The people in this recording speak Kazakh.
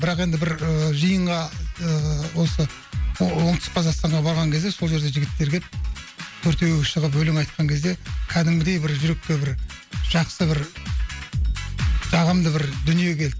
бірақ енді бір ы жиынға ыыы осы оңтүстік қазақстанға барған кезде сол жерде жігіттер келіп төртеуі шығып өлең айтқан кезде кәдімгідей бір жүрекке бір жақсы бір жағымды бір дүние келді